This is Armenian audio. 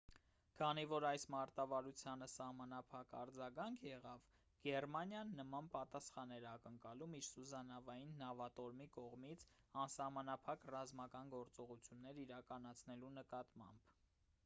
քանի որ այս մարտավարությանը սահմանափակ արձագանք եղավ գերմանիան նման պատասխան էր ակնկալում իր սուզանավային նավատորմի կողմից անսահմանափակ ռազմական գործողություններ իրականացնելու նկատմամբ